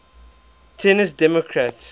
tennessee democrats